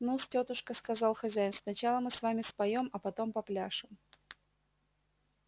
ну-с тётушка сказал хозяин сначала мы с вами споем а потом попляшем